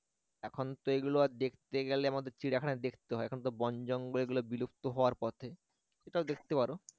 এখন তো এগুলো আর দেখতে গেলে আমাদের চিড়িয়াখানায় দেখতে হয় এখনতো বন জঙ্গলে এগুলো বিলুপ্ত হওয়ার পথে এটাও দেখতে পারো